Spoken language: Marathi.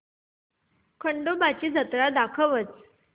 खंडोबा ची जत्रा दाखवच